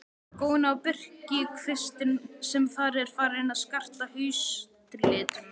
Góni á birkikvistinn sem þar er farinn að skarta haustlitum.